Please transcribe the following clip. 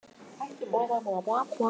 Kládía, hvað er í dagatalinu mínu í dag?